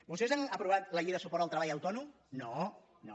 vostès han aprovat la llei de suport al treball autònom no no